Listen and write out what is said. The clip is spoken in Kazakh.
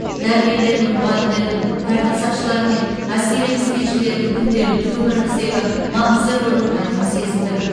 дәрігерлер мен мұғалімдердің тәртіп сақшылары мен әскери қызметшілердің күнделікті өміріміздегі маңызды рөлін айқын сезіндік